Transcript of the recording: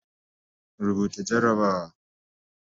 Rubuta jarrabawa